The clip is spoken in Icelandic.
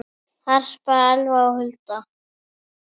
Harpa, Elfa og Hulda.